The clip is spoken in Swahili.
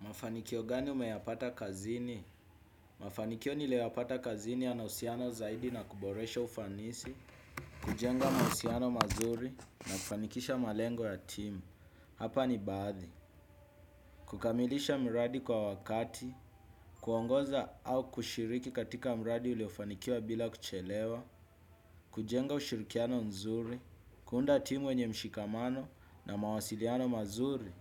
Mafanikio gani unayapata kazini? Mafanikio niliyo yapata kazini yanahusiano zaidi na kuboresha ufanisi, kujenga mahusiano mazuri na kufanikisha malengo ya timu. Hapa ni baadhi. Kukamilisha mradi kwa wakati, kuongoza au kushiriki katika mradi uliofanikiwa bila kuchelewa, kujenga ushirikiano nzuri, kuunda timu yenye mshikamano na mawasiliano mazuri.